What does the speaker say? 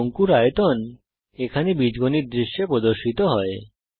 শঙ্কুর আয়তন এখানে বীজগণিত দৃশ্যে প্রদর্শিত হয়